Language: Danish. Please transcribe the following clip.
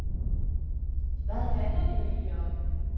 Hvad handler de egentlig om?